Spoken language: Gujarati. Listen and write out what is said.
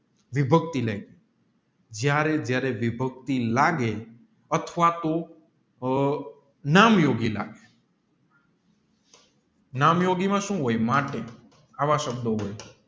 વિભક્તિ જયારે જયારે વિભક્તિ લાગે અથવા તો નામ યોગી લાગે નામયોગી માં સુ હોય આવ શબ્દો હોય